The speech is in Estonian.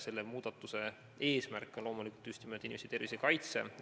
Selle muudatuse eesmärk on loomulikult just nimelt inimeste tervise kaitse.